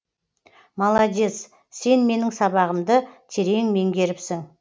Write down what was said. молодец сен менің сабағымды терең меңгеріпсің